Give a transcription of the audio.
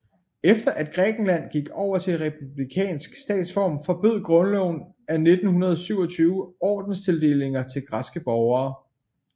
Efter at Grækenland gik over til republikansk statsform forbød grundloven af 1927 ordenstildelinger til græske borgere